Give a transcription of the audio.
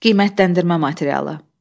Qiymətləndirmə materialı.